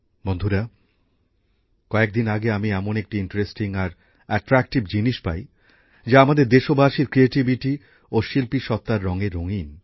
বন্ধুরা কয়েকদিন আগে আমি এমন একটি আকর্ষণীয় আর উৎসাহব্যাঞ্জক জিনিস পাই যা আমাদের দেশবাসীর সৃজনশীলতা ও শিল্পী সত্ত্বার রঙে রঙিন